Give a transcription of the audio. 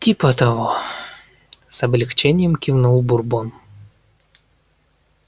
типа того с облегчением кивнул бурбон